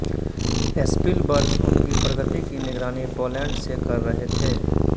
Spielberg उनकी प्रगति की निगरानी पोलैंड से कर रहे थे